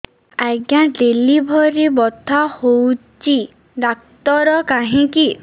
ଆଜ୍ଞା ଡେଲିଭରି ବଥା ହଉଚି ଡାକ୍ତର କାହିଁ କି